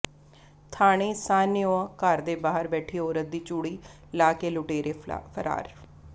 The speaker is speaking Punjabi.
ਥਾਣੇ ਸਾਹਣਿਓਾ ਘਰ ਦੇ ਬਾਹਰ ਬੈਠੀ ਔਰਤ ਦੀ ਚੂੜੀ ਲਾਹ ਕੇ ਲੁਟੇਰੇ ਫਰਾਰ